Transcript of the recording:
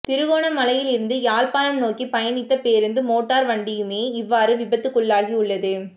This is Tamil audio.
திருகோணமலையில் இருந்து யாழ்ப்பாணம் நோக்கி பயணித்த பேருந்தும் மோட்டார் வண்டியுமே இவ்வாறு விபத்துக்குள்ளாகியுள்ளது